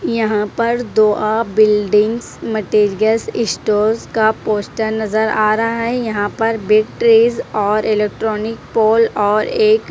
यहां पर दो आ बिल्डिंग्स मटेरियल्स स्टोर्स का पोस्टर नजर आ रहा है यहां पर बिग ट्रीज और इलेक्ट्रॉनिक पोल और एक --